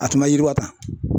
A tun bɛ yiriwa tan